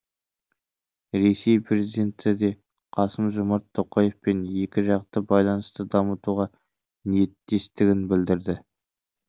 ресей президенті де қасым жомарт тоқаевпен екіжақты байланысты дамытуға ниеттестігін білдірді